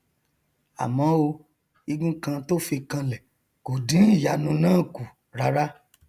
àmọ o igun kan tó fi kanlẹ kò dín ìyanu náà kù rárá